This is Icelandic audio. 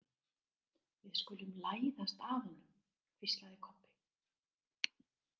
Við skulum læðast að honum, hvíslaði Kobbi.